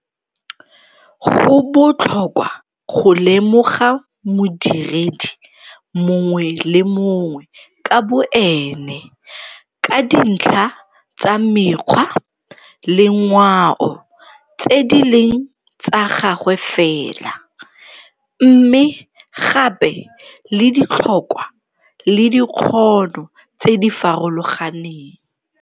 Go botlhokwa go lemoga modiredi mongwe le mongwe ka boene ka dintlha tsa mekgwa le ngwao tse di leng tsa gagwe fela, mme gape le ditlhokwa le dikgono tse di farologaneng.